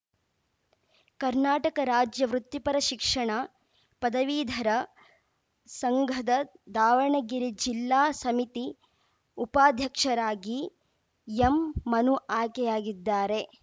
ಕರ್ನಾಟಕ ರಾಜ್ಯ ವೃತ್ತಿಪರ ಶಿಕ್ಷಣ ಪದವೀಧರ ಸಂಘದ ದಾವಣಗೆರೆ ಜಿಲ್ಲಾ ಸಮಿತಿ ಉಪಾಧ್ಯಕ್ಷರಾಗಿ ಎಂಮನು ಆಯ್ಕೆಯಗಿದ್ದಾರೆ